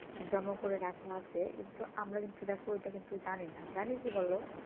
জমা করে রাখা আছে কিন্তু আমরা কিন্তু দেখো ওটা কিন্তু জানি না জানি কি বলো